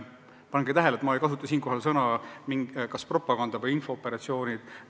Pange tähele, et ma ei kasuta siinkohal sõnu "propaganda" või "infooperatsioonid"!